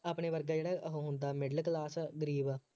ਆਪਣੇ ਵਰਗਾ ਜਿਹੜਾ ਉਹ ਹੁੰਦਾ middle class ਗਰੀਬ